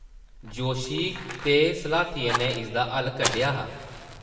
जोशी ते स्लाथिये नै इसदा हल्ल कड्ढेआ हा ।